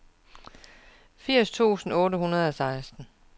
firs tusind otte hundrede og seksten